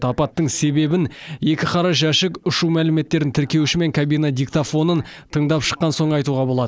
апаттың себебін екі қара жәшік ұшу мәліметтерін тіркеуші мен кабина диктофонын тыңдап шыққан соң айтуға болады